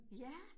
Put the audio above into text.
Ja